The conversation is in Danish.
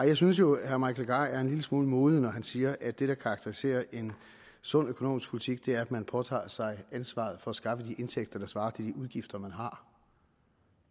jeg synes jo at herre mike legarth er en lille smule modig når han siger at det der karakteriserer en sund økonomisk politik er at man påtager sig ansvaret for at skaffe de indtægter der svarer til de udgifter man har